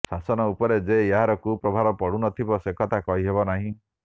ଶାସନ ଉପରେ ଯେ ଏହାର କୁପ୍ରଭାବ ନପଡ଼ୁଥିବ ସେକଥା କହିହେବ ନାହିଁ